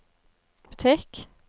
butikk